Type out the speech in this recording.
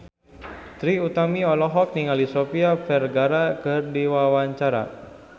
Trie Utami olohok ningali Sofia Vergara keur diwawancara